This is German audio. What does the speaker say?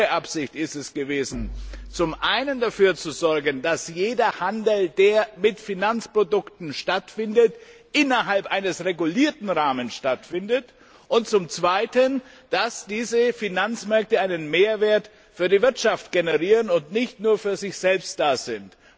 Unsere Absicht ist es gewesen, zum einen dafür zu sorgen, dass jeder Handel, der mit Finanzprodukten stattfindet, innerhalb eines regulierten Rahmens stattfindet, und zum anderen, dass diese Finanzmärkte einen Mehrwert für die Wirtschaft generieren und nicht nur für sich selbst da sind.